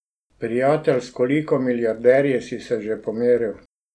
Prijatelj, s koliko milijarderji si se že pomeril?